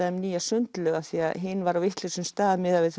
þeim nýja sundlaug því að hin var á vitlausum stað miðað við